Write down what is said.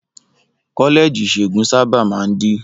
Kọ́lẹ́ẹ̀jì ìṣègùn sábà máa ń dí.